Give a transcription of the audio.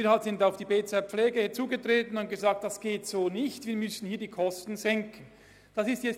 Wir sind auf das BZ Pflege zugegangen und haben gesagt, dass dies nicht gehe und wir die Kosten hier senken müssten.